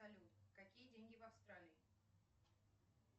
салют какие деньги в австралии